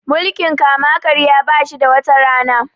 mukiln kama karya ba shi da wata Rana